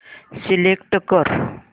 select कर